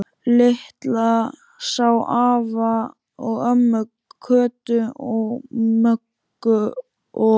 Lilla sá afa og ömmu, Kötu, Möggu og